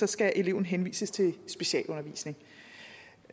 skal eleven henvises til specialundervisning